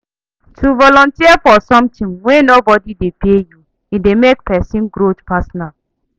To volunteer for something wey no body de pay you e de make persin growth personal